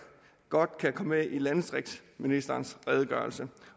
godt kan komme med i landdistriktsministerens redegørelse